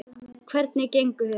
Hvernig gengur þér?